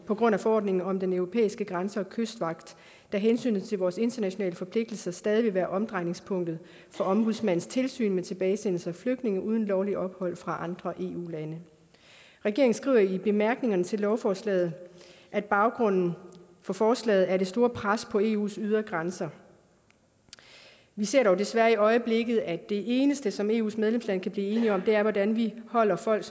på grund af forordningen om den europæiske grænse og kystvagt da hensynet til vores internationale forpligtelser stadig vil være omdrejningspunktet for ombudsmandens tilsyn med tilbagesendelse af flygtninge uden lovligt ophold fra andre eu lande regeringen skriver i bemærkningerne til lovforslaget at baggrunden for forslaget er det store pres på eus ydre grænser vi ser dog desværre i øjeblikket at det eneste som eus medlemslande kan blive enige om er hvordan vi holder folk